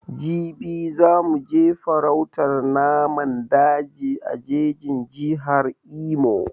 Jibi za mu je farautan naman daji a jejin Jihar Imo